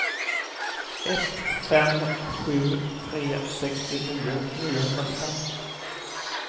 ett fem sju tre sextionio niohundrafem